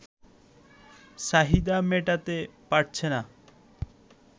চাহিদা মেটাতে পারছে না